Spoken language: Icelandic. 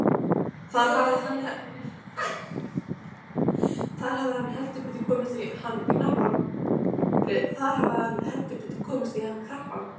Þar hafði hann heldur betur komist í hann krappan.